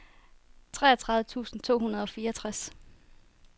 treogtredive tusind to hundrede og fireogtres